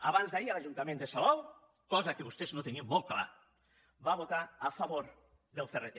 abans d’ahir l’ajuntament de salou cosa que vostès no tenien molt clara va votar a favor del crt